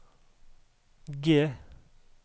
G